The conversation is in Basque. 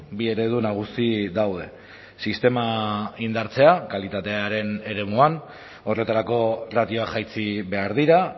bi eredu nagusi daude sistema indartzea kalitatearen eremuan horretarako ratioa jaitsi behar dira